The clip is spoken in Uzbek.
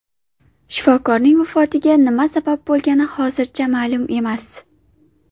Shifokorning vafotiga nima sabab bo‘lgani hozircha ma’lum emas.